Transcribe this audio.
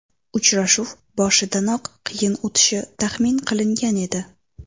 Uchrashuv boshidanoq qiyin o‘tishi taxmin qilingan edi.